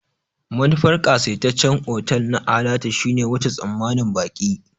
Manufar ƙasaitaccen otal na alatu shine wuce tsammanin baƙi.